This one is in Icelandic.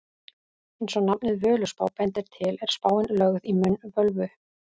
Eins og nafnið Völuspá bendir til er spáin lögð í munn völvu.